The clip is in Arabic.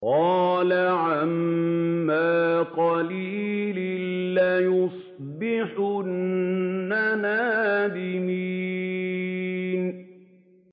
قَالَ عَمَّا قَلِيلٍ لَّيُصْبِحُنَّ نَادِمِينَ